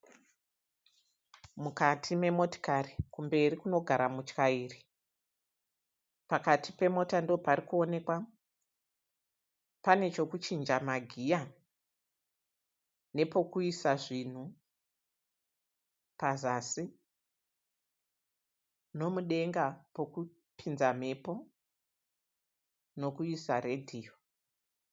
Mukati memotikari kumberi kunogara mutyairi pakati pemota ndopari kuonekwa pane chokuchinja magiya nepokuisa zvinhu pazasi nomudenga pokupinza mhepo nokuisa redhiyo.